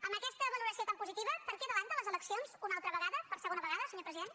amb aquesta valoració tan positiva per què avança les eleccions una altra vegada per segona vegada senyor president